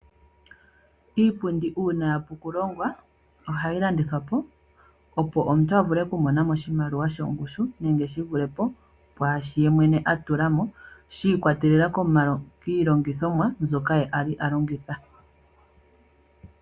Iipundi ngele yapu oku longwa ohayi landithwa po opo omuntu avule oku monamo oshimaliwa shongushu . Nenge shivulepo pwaashi yemwene atula mo shiikwatelela kiilongithomwa mbyoka ye ali alongitha.